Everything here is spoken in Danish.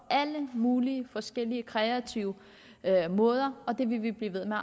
alle mulige forskellige kreative måder og det vil vi blive ved med